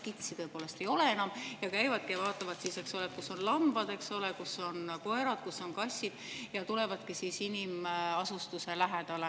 Kitsi tõepoolest enam ei ole ning käivadki vaatamas, kus on lambad, kus on koerad, kus on kassid, ja tulevad inimasustuse lähedale.